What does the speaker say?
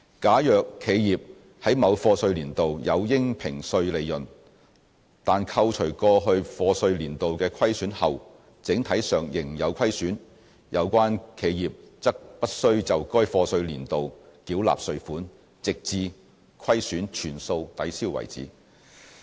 假如企業在某課稅年度有應評稅利潤，但扣除過去課稅年度的虧損後整體上仍有虧損，有關企業則不須就該課稅年度繳納稅款，直至虧損全數抵銷為止。